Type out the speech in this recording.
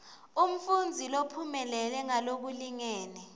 umfundzi lophumelele ngalokulingene